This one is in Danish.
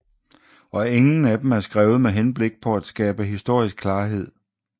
Og ingen af dem er skrevet med henblik på at skabe historisk klarhed